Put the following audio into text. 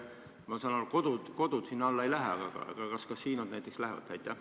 Ma saan aru, et kodud sinna alla ei lähe, aga kas kasiinod näiteks lähevad?